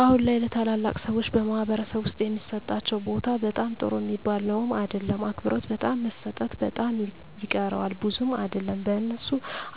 አሁን ላይ ለተላላቅ ሰዎች በማኅበረሰብ ዉስጥ የሚሠጣቸው ቦታ በጣም ጥሩ ሚባል ነዉም አይደለም አክብሮት በጣም መሰጠት በጣም ይቀረዋል ብዙም አይደለም በእነሱ